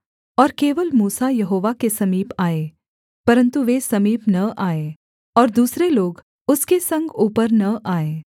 और केवल मूसा यहोवा के समीप आए परन्तु वे समीप न आएँ और दूसरे लोग उसके संग ऊपर न आएँ